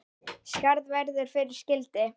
Skarð verður fyrir skildi.